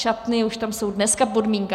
Šatny už tam jsou dneska podmínka.